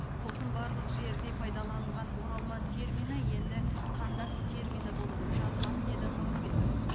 сосын барлық жерде пайдаланылған оралман термині енді қандас термині болып жазылады деді нұрымбетов